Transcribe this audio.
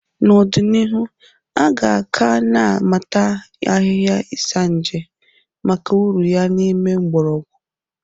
N'ọdịnihu, aga ka na amata ahịhịa Isanje maka uru ya n'ìmè mgborogwu.